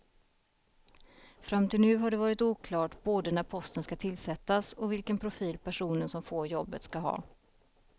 Fram till nu har det varit oklart både när posten ska tillsättas och vilken profil personen som får jobbet ska ha.